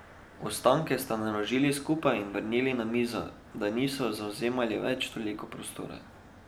Ostanke sta naložili skupaj in vrnili na mizo, da niso zavzemali več toliko prostora.